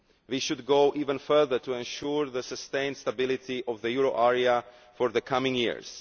We should go even further to ensure the sustained stability of the euro area for the coming years.